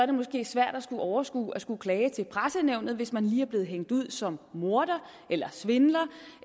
det måske svært at overskue at skulle klage til pressenævnet hvis man lige er blevet hængt ud som morder eller svindler